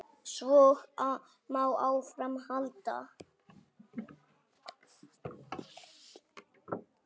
Svo má áfram halda.